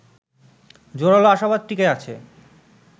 জোরালো আশাবাদ টিকে আছে